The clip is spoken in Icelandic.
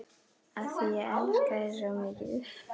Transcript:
Af því ég elska þig svo mikið.